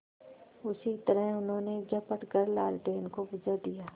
उसी तरह उन्होंने झपट कर लालटेन को बुझा दिया